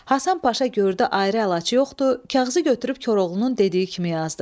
Həsən Paşa gördü ayrı əlac yoxdu, kağızı götürüb Koroğlunun dediyi kimi yazdı.